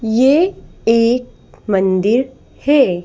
ये एक मंदिर है।